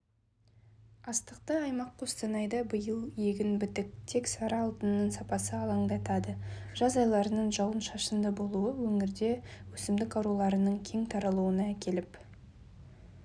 астықты аймақ қостанайда биыл егін бітік тек сары алтынның сапасы алаңдатады жаз айларының жауын-шашынды болуы өңірде өсімдік ауруларының кең таралуына әкеліп